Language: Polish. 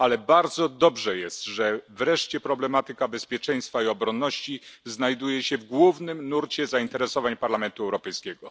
Ale to bardzo dobrze, że wreszcie problematyka bezpieczeństwa i obronności znajduje się w głównym nurcie zainteresowań Parlamentu Europejskiego.